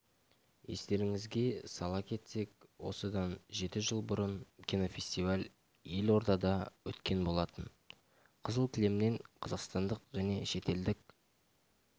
естеріңізге сала кетсек осыдан жеті жыл бұрын кинофестиваль елордада өткен болатын қызыл кілемнен қазақстандық және шетелдік